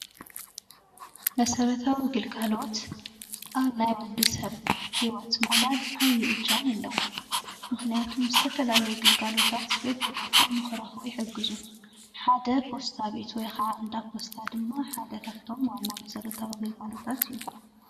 መሰረታዊ ግልጋሎት ኣብ ናይ ወድሰብ ሂወት ምቕላል ዓብዪ እጃም ኣለዎ። ምኽንያቱም ዝተፈላለዩ ግልጋሎታት በቢቦትኡ ንክረኽቡ ይሕግዙ። ሓደ ፖስታ ቤት ወይ ክዓ እንዳ ፖስታ ድማ ሓደ ካፍቶም ዋና መሰረታዊ ግልጋሎታት እዩ።